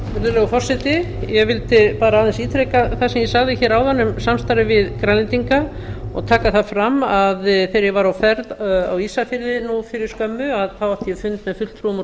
virðulegur forseti ég vildi bara aðeins ítreka það sem ég sagði hér áðan um samstarfið við grænlendinga og taka það fram að þegar ég var á ferð á ísafirði nú fyrir skömmu átti ég fund með fulltrúum úr